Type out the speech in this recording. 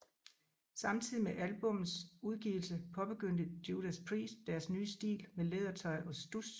Samtidig med albummets udgivelse påbegyndte Judas Priest deres nye stil med lædertøj og studs